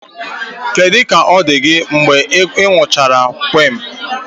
Kedu ka ọ dị gị mgbe ị gụchara quinn?